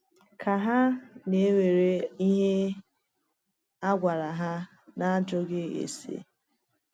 Ka hà na-ekwere ihe a gwara hà n’ajụghị ase?